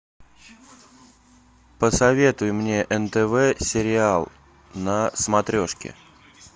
посоветуй мне нтв сериал на смотрешке